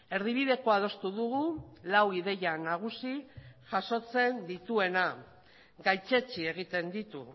erdibidekoa adostu dugu lau ideia nagusi jasotzen dituena gaitzetsi egiten ditu